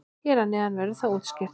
Hér að neðan verður það útskýrt.